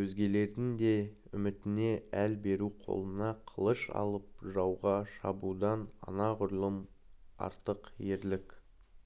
өзгелердің де үмітіне әл беру қолына қылыш алып жауға шабудан анағұрлым артық ерлік